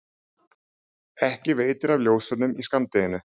ekki veitir af ljósunum í skammdeginu.